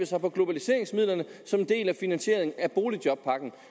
sig på globaliseringsmidlerne som en del af finansieringen af boligjobordningen